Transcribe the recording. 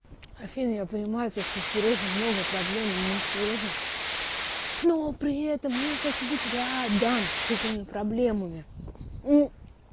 афин я понимаю то что сережа много проблем ему сложно но при этом я хочу быть рядом с этими проблемами